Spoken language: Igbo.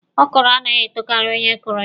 Ọkrọ anaghị etokari onye kụrụ ya.